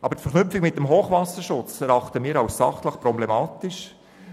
Aber die Verknüpfung mit dem Hochwasserschutz erachten wir als sachlich problematisch.